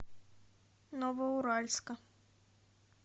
новоуральска